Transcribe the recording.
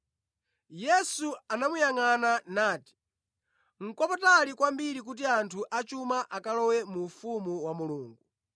Yesu anamuyangʼana nati, “Nʼkwapatali kwambiri kuti anthu achuma akalowe mu ufumu wa Mulungu!